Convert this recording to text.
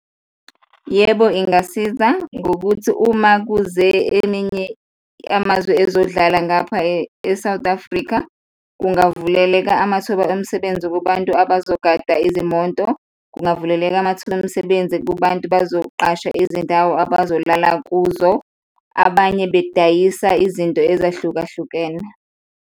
Yebo, ingasiza ngokuthi uma kuze eminye yamazwe ezodlala ngapha e-South Africa, kungavuleleka amathuba omsebenzi kubantu abazogada izimoto, kungavuleleka amathuba emsebenzi kubantu bazoqasha izindawo abazolala kuzo, abanye bedayisa izinto ezahlukahlukene.